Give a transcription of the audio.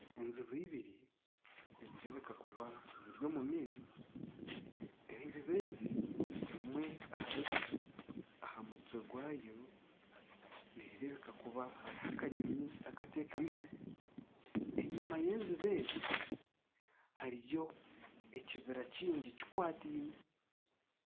enjubi ibiri nizireebeka kuba ziri omu maizi, enjubu ezi emwe ahari zo aha mutwe gwayo neerebuka kuba hariho akanyonyi akatekamiho, enyima y'enjubu ezi hariyo ekibira kingi kikwatiine